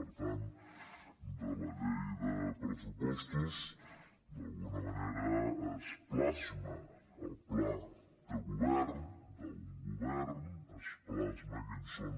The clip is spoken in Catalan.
per tant a la llei de pressupostos d’alguna manera es plasma el pla de govern d’un govern es plasmen quins són